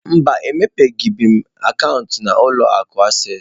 Mba, emepebeghị m akaụntụ na ụlọ akụ acesịị.